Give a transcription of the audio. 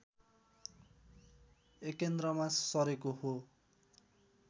एकेन्द्रमा सरेको हो